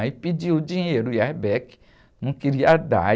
Aí pediu dinheiro, o não queria dar.